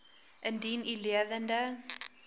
indien u lewende